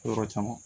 Yɔrɔ caman